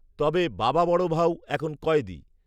তবে বাবা বড় ভাউ এখন কয়েদি